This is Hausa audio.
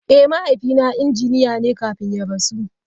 Eh, mahaifina injiniya ne kafin ya rasu.